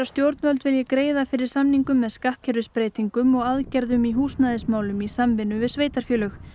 stjórnvöld vilji greiða fyrir samningum með skattkerfisbreytingum og aðgerðum í húsnæðismálum í samvinnu við sveitarfélög